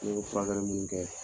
furakɛli mun kɛ.